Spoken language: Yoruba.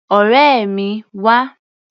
Ọ̀rẹ́ mi, wá!